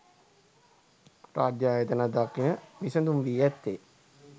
රාජ්‍ය ආයතන දකින විසඳුම වී ඇත්තේ